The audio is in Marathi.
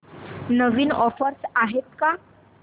नवीन ऑफर्स आहेत का